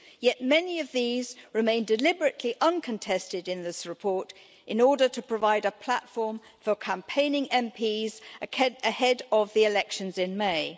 Yet many of these remain deliberately uncontested in this report in order to provide a platform for campaigning MEPs ahead of the elections in May.